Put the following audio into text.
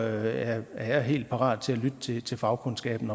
er er jeg helt parat til at lytte til til fagkundskaben